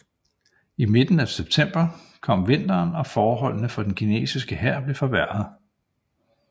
I midten af september kom vinteren og forholdene for den kinesiske hær blev forværrede